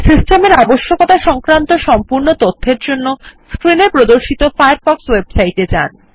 system এর আবশ্যকতা সংক্রান্ত সম্পূর্ণ তথ্যের জন্য স্ক্রিন এ প্রদর্শিত ফায়ারফক্ষ ওয়েবসাইট এ যান